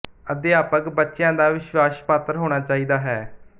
ਅਧਿਆਪਕ ਬੱਚਿਆਂ ਦਾ ਵਿਸ਼ਵਾਸ ਪਾਤਰ ਹੋਣਾ ਚਾਹੀਦਾ ਹੈ